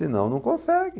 Senão não consegue.